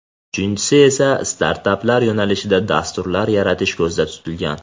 Uchinchisi esa startaplar yo‘nalishida dasturlar yaratish ko‘zda tutilgan.